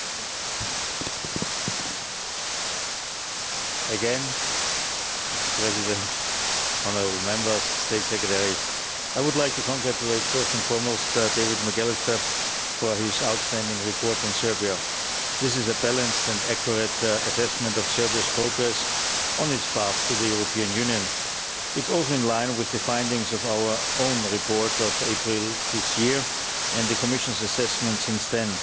Mr President, honourable Members, State Secretary, I would like to congratulate, first and foremost, David McAllister for his outstanding report on Serbia. This is a balanced and accurate assessment of Serbia's progress on its path to the European Union. It's also in line with the findings of our own report of April this year and the Commission's assessment since then.